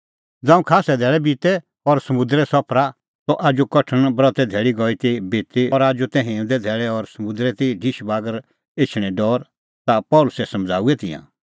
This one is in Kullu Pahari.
ज़ांऊं खास्सै धैल़ै बितै और समुंदरे सफरा त आजू कठण ब्रते धैल़ी गई ती बिती और आजू तै हिंऊंदे धैल़ै और समुंदरै ती ढिशबागर एछणें डौर ता पल़सी समझ़ाऊऐ तिंयां